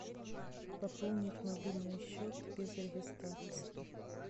пополнить мобильный счет без регистрации